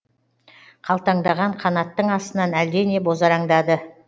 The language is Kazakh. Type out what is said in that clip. қалтаңдаған қанаттың астынан әлдене бозараңдады